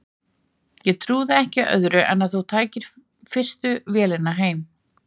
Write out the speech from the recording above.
Ég trúði ekki öðru en að þú tækir fyrstu vél heim.